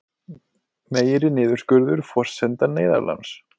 Meiri niðurskurður forsenda neyðarláns